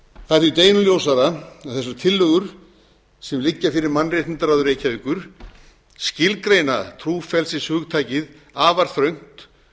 það er því deginum ljósara að þessar tillögur sem liggja fyrir mannréttindaráði reykjavíkur skilgreina trúfrelsishugtakið afar þröngt